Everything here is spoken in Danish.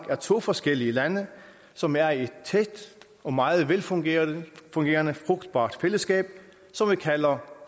er to forskellige lande som er i et tæt og meget velfungerende frugtbart fællesskab som vi kalder